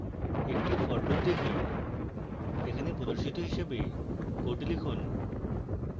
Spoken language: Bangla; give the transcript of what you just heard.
একটি for loop type এখানে প্রদর্শিত হিসাবে code লিখুন